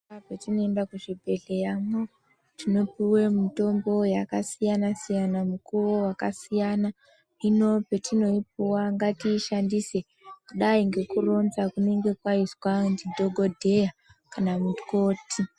Patinoenda muzvibhedhleyamwo tinopuwa mutombo yakasiyana siyana mukuwo wakasiyana hino oetinoipuwa ngatiishandise kudai ngekuronga kunenge kwaizwa ndidhokodheya kana mukoti.